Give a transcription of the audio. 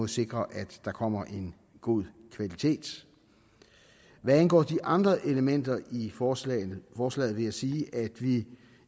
sikre at der kommer en god kvalitet hvad angår de andre elementer i forslaget forslaget vil jeg sige at vi